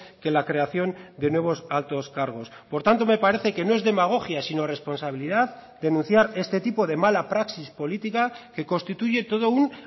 que la creación de nuevos altos cargos por tanto me parece que no es demagogia sino responsabilidad denunciar este tipo de mala praxis política que constituye todo un